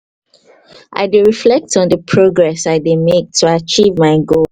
i dey reflect on di progress i dey mek to acheive my goal